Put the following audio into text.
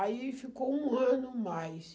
Aí ficou um ano mais.